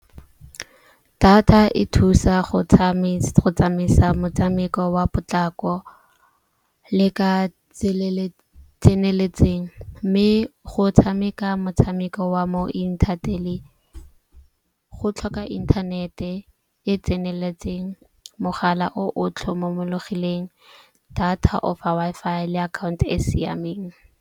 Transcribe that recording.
Data e thusa go tsamaisa motshameko wa potlako le ka tseneletseng. Mme go tshameka motshameko wa mo go tlhoka inthanete e tseneletseng, mogala o otlhe mo tlhomologileng data Wi-Fi le akhaonto e e siameng.